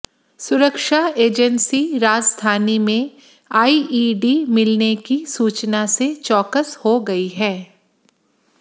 सुरक्षा एजेंसी राजधानी में आइईडी मिलने की सूचना से चौकस हो गई है